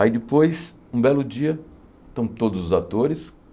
Aí depois, um belo dia, estão todos os atores.